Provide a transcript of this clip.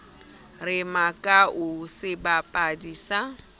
re makau ke sebapadi sa